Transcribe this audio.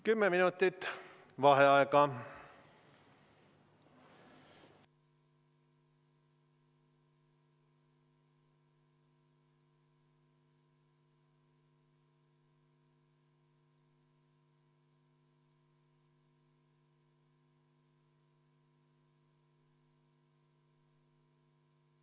Kümme minutit vaheaega.